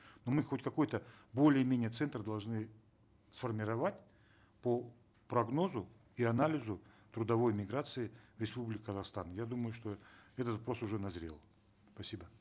ну мы хоть какой то более менее центр должны сформировать по прогнозу и анализу трудовой миграции в республике казахстан я думаю что этот вопрос уже назрел спасибо